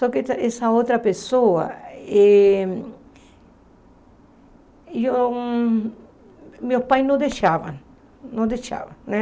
Só que essa outra pessoa, eh eu meus pais não deixavam, não deixavam né.